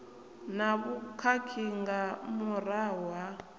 na vhukhakhi nga murahu ha